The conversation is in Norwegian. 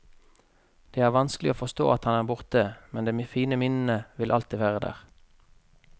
Det er vanskelig å forstå at han er borte, men de fine minnene vil alltid være der.